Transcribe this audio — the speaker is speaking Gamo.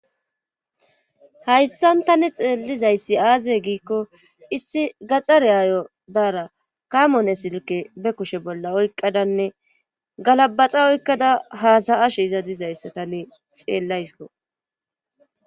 Hayssan tani xeellizayssi aaze giikko issi gaxareaayo daara kamone silke be kushe bolla oyqqadanne galabaxa oykkada haasayashe iza dizayssa tane xeellaysko